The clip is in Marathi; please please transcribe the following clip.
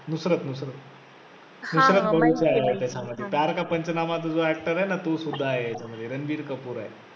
नुसरत नुसरत नुसरत भरूचा आहे त्याच्यामधी प्यार का पंचनामा जो actor आहे ना तो सुद्धा आहे याच्यामद्धी रणबीर कपूर आहे.